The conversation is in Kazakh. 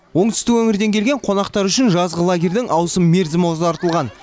оңтүстік өңірден келген қонақтар үшін жазғы лагерьдің ауысым мерзімі ұзартылған